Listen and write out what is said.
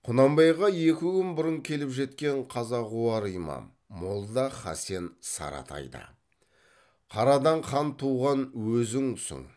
құнанбайға екі күн бұрын келіп кеткен қазағуар имам молда хасен саратай да қарадан хан туған өзіңсің